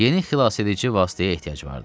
Yeni xilasedici vasitəyə ehtiyac vardı.